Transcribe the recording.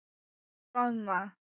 Og roðna.